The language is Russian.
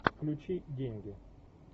включи деньги